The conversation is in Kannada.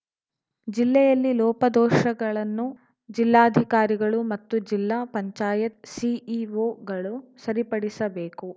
ಜಿಲ್ಲೆಯಲ್ಲಿ ಲೋಪದೋಷಗಳನ್ನು ಜಿಲ್ಲಾಧಿಕಾರಿಗಳು ಮತ್ತು ಜಿಲ್ಲಾ ಪಂಚಾಯತ್‌ ಸಿಇಓಗಳು ಸರಿಪಡಿಸಬೇಕು